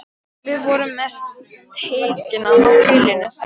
Við vorum með steikina á grillinu, sagði Vilhelm.